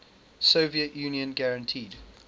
soviet union guaranteed